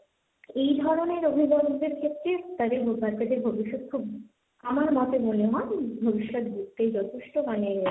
এই ধরনের অভিভাবকদের ক্ষেত্রে তাদের ভবিষ্যৎ খুব, আমার মতে মনে হয় ভবিষ্যৎ গড়তেই যথেষ্ট মানে,